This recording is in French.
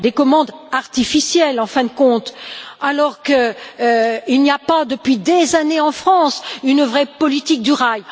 Des commandes artificielles en fin de compte, alors qu'il n'y a pas depuis des années en France une vraie politique du rail.